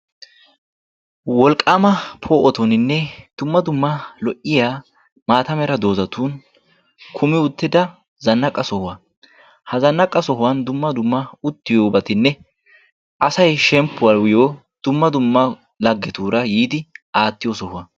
wolqaama poo'otunninne dumma dumma lo'iya maata mera dozatun kumi utida zanaqa sohuwa. asay shempuwaayo dumma dumma lagetuura yiidi aatiyo sohuwa.